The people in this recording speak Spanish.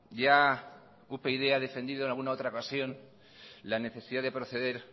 ya upyd ha defendido en alguna otra ocasión la necesidad de proceder